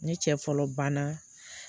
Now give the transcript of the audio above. Ne cɛ fɔlɔ ban na